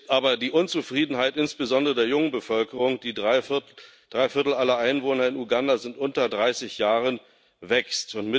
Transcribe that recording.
Aber die Unzufriedenheit, insbesondere der jungen Bevölkerung drei Viertel aller Einwohner in Uganda sind unter dreißig Jahren wächst.